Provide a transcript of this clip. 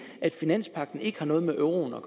at finanspagten ikke har noget med euroen at